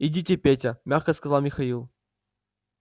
идите петя мягко сказал михаил